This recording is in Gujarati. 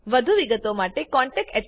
વધુ વિગતો માટે contactspoken tutorialorg પર લખો